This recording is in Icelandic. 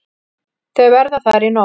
Þau verða þar í nótt.